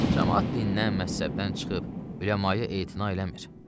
Camaat dindən, məzhəbdən çıxıb, üləmaya etina eləmir.